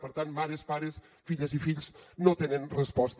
per tant mares pares filles i fills no tenen resposta